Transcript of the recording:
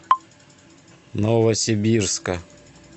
новосибирска